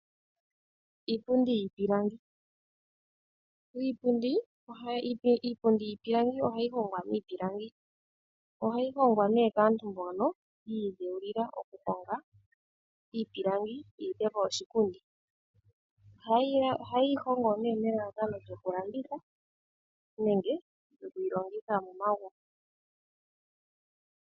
Iipundi yiipilangi. Iipundi yiipilangi ohayi hongwa miipilangi. Ohayi hongwa nee kaantu mbono yi ilongela okuhonga iipilangi ohayeyi hongo nee nelalakano lyoku landitha nenge okulongitha momagumbo.